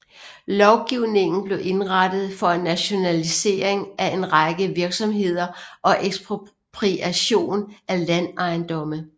Lovgivningen blev indrettet for en nationalisering af en række virksomheder og ekspropriation af landejendomme